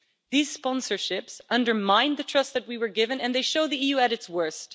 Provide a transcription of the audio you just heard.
These sponsorships undermine the trust that we were given and they show the EU at its worst.